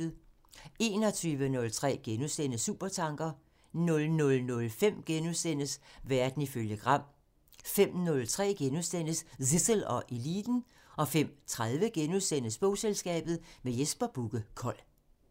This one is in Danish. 21:03: Supertanker *(tir) 00:05: Verden ifølge Gram *(tir) 05:03: Zissel og Eliten *(tir) 05:30: Bogselskabet – med Jesper Bugge Kold *